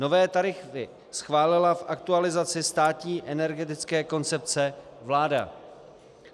Nové tarify schválila v aktualizaci státní energetické koncepce vláda.